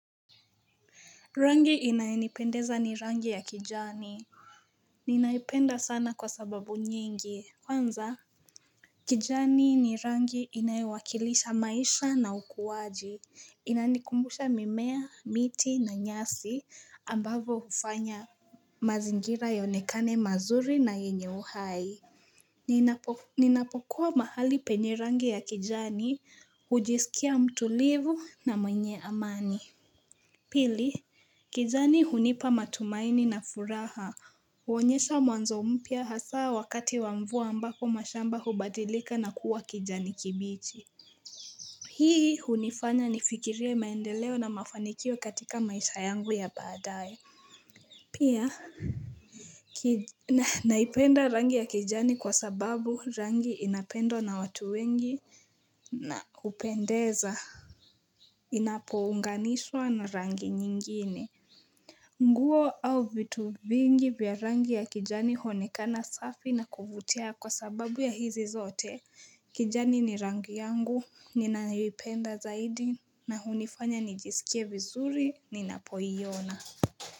Rangi inayonipendeza ni rangi ya kijani Ninaipenda sana kwa sababu nyingi kwanza kijani ni rangi inayowakilisha maisha na ukuwaji Inanikumbusha mimea miti na nyasi ambavo hufanya mazingira yaonekane mazuri na yenye uhai Ninapokuwa mahali penye rangi ya kijani hujisikia mtulivu na mwenye amani Pili kijani hunipa matumaini na furaha, huonyesha mwanzo mpya hasa wakati wa mvua ambako mashamba hubadilika na kuwa kijani kibichi Hii hunifanya nifikirie maendeleo na mafanikio katika maisha yangu ya baadae Pia Naipenda rangi ya kijani kwa sababu rangi inapendwa na watu wengi na hupendeza Inapounganishwa na rangi nyingine nguo au vitu vingi vya rangi ya kijani huonekana safi na kuvutia kwa sababu ya hizi zote. Kijani ni rangi yangu, ninayoipenda zaidi na hunifanya nijisikie vizuri ninapoiona.